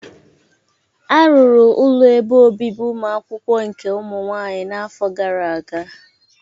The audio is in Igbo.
Arụrụ ụlọ ebe obibi ụmụakwụkwọ nke ụmụ nwaanyị n'afọ gara aga.